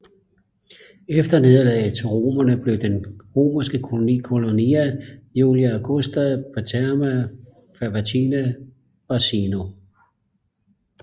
Efter nederlaget til romerne blev den romerske koloni Colonia Julia Augusta Paterna Faventina Barcino